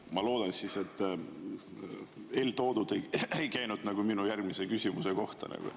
Ma loodan, et eeltoodu ei käinud minu järgmise küsimuse kohta.